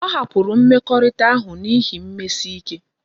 O hapuru mmekorita ahu na ihi mmesike